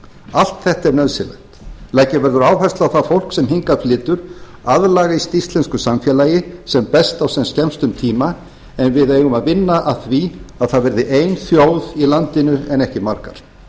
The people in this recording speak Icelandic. allt þetta er nauðsynlegt leggja verður áherslu á að það fólk sem hingað flytur aðlagist íslensku samfélagi sem best á sem skemmstum tíma en við eigum að vinna að því að það verði ein þjóð í landinu en ekki margar ef